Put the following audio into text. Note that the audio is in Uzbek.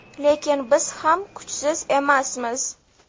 Lekin biz ham kuchsiz emasmiz.